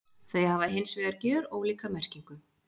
Þau hafa hins vegar gjörólíka merkingu.